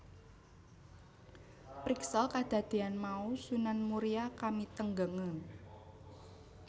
Priksa kadadéan mau Sunan Muria kamitenggengen